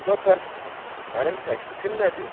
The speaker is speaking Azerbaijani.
Onda bəs mənim təklifim nədir?